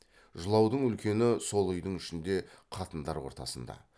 жылаудың үлкені сол үйдің ішінде қатындар ортасында